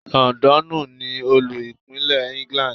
Londonu ni Olú-Ìpínlẹ̀ England.